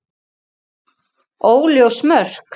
Óljós mörk.